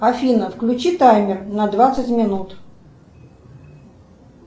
афина включи таймер на двадцать минут